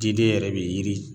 Diden yɛrɛ be yiri